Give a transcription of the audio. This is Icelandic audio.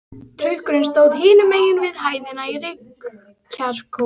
Trukkurinn stóð hinum megin við hæðina í reykjarkófi.